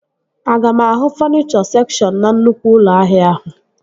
Aga m ahụ fọnichọ sekshọn na nnukwu ụlọ ahịa ahụ?